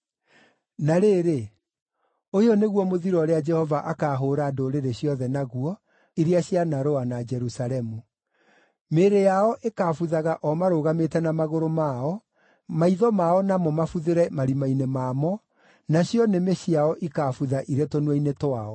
Na rĩrĩ, ũyũ nĩguo mũthiro ũrĩa Jehova akaahũũra ndũrĩrĩ ciothe naguo, iria cianarũa na Jerusalemu: Mĩĩrĩ yao ĩkaabuthaga o marũgamĩte na magũrũ mao, maitho mao namo mabuthĩre marima-inĩ mamo, nacio nĩmĩ ciao ikaabutha irĩ tũnua-inĩ twao.